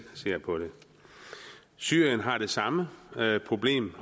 ser på det syrien har det samme problem